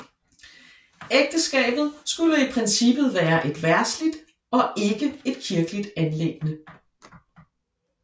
Ægteskabet skulle i princippet være et verdsligt og ikke et kirkeligt anliggende